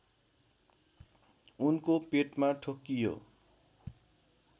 उनको पेटमा ठोक्कियो